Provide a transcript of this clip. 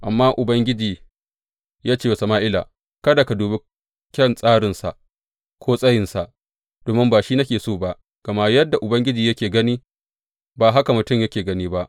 Amma Ubangiji ya ce wa Sama’ila, Kada ka dubi kyan tsarinsa ko tsayinsa, domin ba shi nake so ba, gama yadda Ubangiji yake gani, ba haka mutum yake gani ba.